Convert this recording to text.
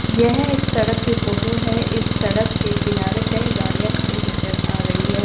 यह एक सड़क के फोटो है इस सड़क के किनारे कई गाड़ियां खड़ी नजर आ रही है।